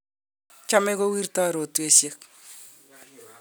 chomei kowirtoi rotwesiek